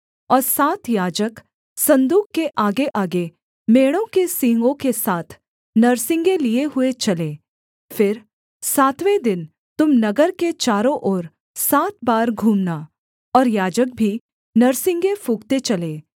और सात याजक सन्दूक के आगेआगे मेढ़ों के सींगों के सात नरसिंगे लिए हुए चलें फिर सातवें दिन तुम नगर के चारों ओर सात बार घूमना और याजक भी नरसिंगे फूँकते चलें